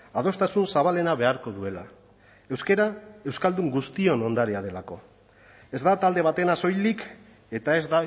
adostasun zabalena beharko duela euskara euskaldun guztion ondarea delako ez da talde batena soilik eta ez